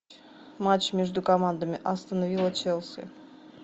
матч между командами астон вилла челси